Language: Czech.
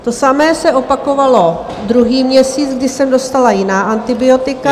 To samé se opakovalo druhý měsíc, kdy jsem dostala jiná antibiotika.